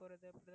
correct